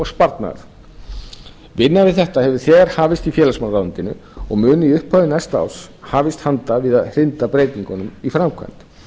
sparnaðar vinna við þetta hefur þegar hafist í félagsmálaráðuneytinu og mun í upphafi næsta árs hafist handa við að hrinda breytingunum í framkvæmd